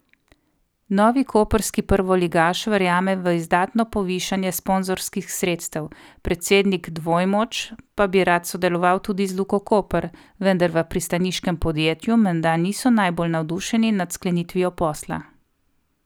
Novi koprski prvoligaš verjame v izdatno povišanje sponzorskih sredstev, predsednik Dvojmoč pa bi rad sodeloval tudi z Luko Koper, vendar v pristaniškem podjetju menda niso najbolj navdušeni nad sklenitvijo posla.